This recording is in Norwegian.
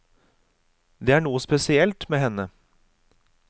Det er noe spesielt med henne.